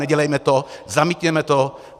Nedělejme to, zamítněme to.